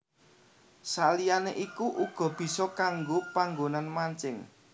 Saliyané iku uga bisa kanggo panggonan mancing